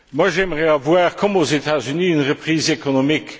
J'aimerais avoir, comme aux États Unis, une reprise économique.